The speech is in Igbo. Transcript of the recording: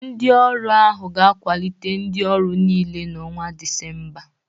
Ndị ọrụ ahụ ga-akwalite ndị ọrụ niile n'ọnwa Disemba